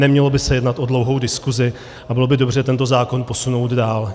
Nemělo by se jednat o dlouhou diskusi a bylo by dobře tento zákon posunout dál.